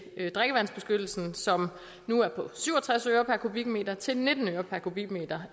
drikkevandsbeskyttelsen som nu er på syv og tres øre per kubikmeter til nitten øre per kubikmeter